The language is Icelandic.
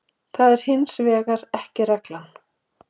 það er hins vegar ekki reglan